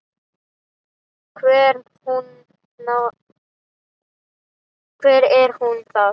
Hver er nú það?